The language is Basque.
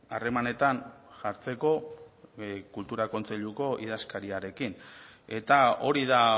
harremanetan jartzeko kultura kontseiluko idazkariarekin eta hori da